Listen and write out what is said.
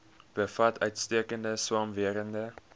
bevat uitstekende swamwerende